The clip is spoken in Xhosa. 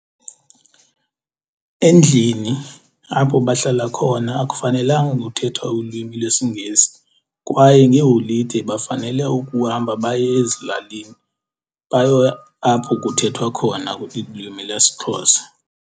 Endlini apho bahlala khona akufanelanga kuthethwa ulwimi lwesiNgesi, kwaye ngeeholide bafanele ukuhamba baye ezilalini bayo apho kuthethwa khona ilwimi lesiXhosa.